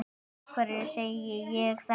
Af hverju segi ég þetta?